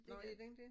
Nå er den det?